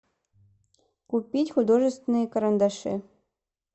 купить художественные карандаши